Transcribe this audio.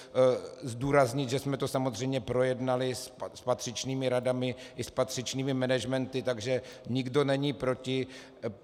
Zdůrazňuji, že jsme to samozřejmě projednali s patřičnými radami i s patřičnými managementy, takže nikdo není proti.